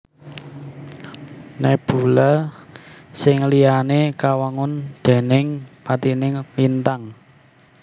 Nebula sing liyané kawangun déning patining lintang